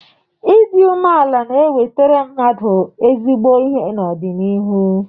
Ịdị umeala na enwetara mmadụ ezigbo ihe n'ọdịnihu.